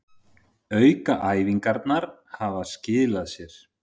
Aukaæfingarnar hafa skilað sér